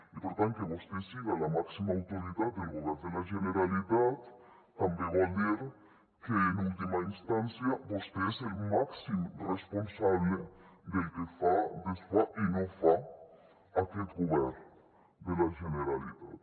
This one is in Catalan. i per tant que vostè siga la màxima autoritat del govern de la generalitat també vol dir que en última instància vostè és el màxim responsable del que fa desfà i no fa aquest govern de la generalitat